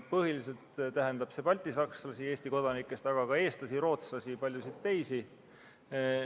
Põhiliselt tähendab see Eesti kodanikest baltisakslasi, aga ka eestlasi, rootslasi ja paljusid teisi.